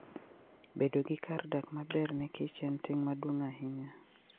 Bedo gi kar dak maber ne Kichen ting' maduong' ahinya.